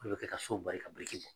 Olu bɛ kɛ ka so bari ka